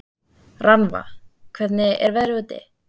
Rannva, hvernig er veðrið úti?